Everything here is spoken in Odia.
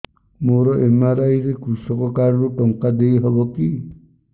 ମୋର ଏମ.ଆର.ଆଇ ରେ କୃଷକ କାର୍ଡ ରୁ ଟଙ୍କା ଦେଇ ହବ କି